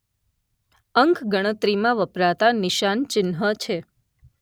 અંક ગણતરીમાં વપરાતાં નિશાન ચિહ્ન છે